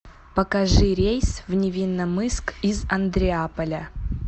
покажи рейс в невинномысск из андреаполя